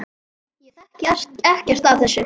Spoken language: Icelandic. Ég þekki ekkert af þessu.